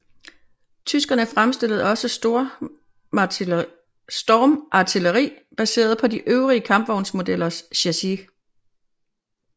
Tyskerne fremstillede også stormartilleri baseret på de øvrige kampvognsmodellers chassis